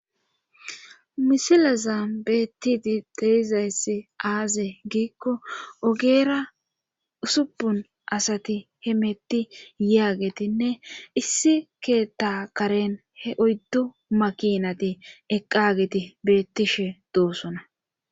misilaza beettiti dehizayssi aaze giikko ogeera usupun asati hemetti yaagetinne issi keetta karen he oyddu makinati eqqageti beettishe doosona